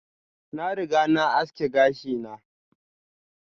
Na riga na aski gashi na.